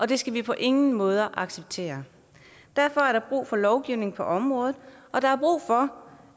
det skal vi på ingen måde acceptere derfor er der brug for lovgivning på området og der er brug for